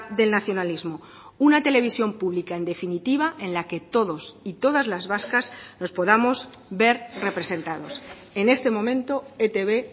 del nacionalismo una televisión pública en definitiva en la que todos y todas las vascas nos podamos ver representados en este momento etb